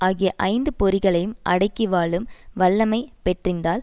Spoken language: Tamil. ஆகிய ஐந்து பொறிகளையும் அடக்கி வாழும் வல்லமை பெற்றிந்தால்